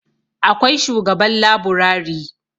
akwai shugaban laburari